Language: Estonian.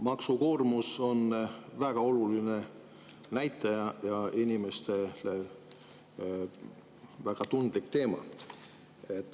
Maksukoormus on väga oluline näitaja ja inimestele väga tundlik teema.